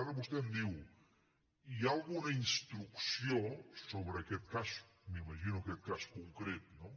ara vostè em diu hi ha alguna instrucció sobre aquest cas m’imagino que en aquest cas concret no